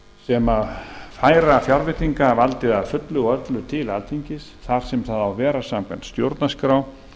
sem færa fjárveitingavaldið að fullu og öllu til alþingis þar sem það á að vera samkvæmt stjórnarskrá